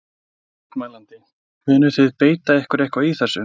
Mótmælandi: Munið þið beita ykkur eitthvað í þessu?